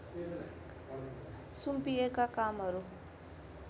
सुम्पिएका कामहरू